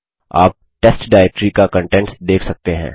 आप test directory का contents देख सकते हैं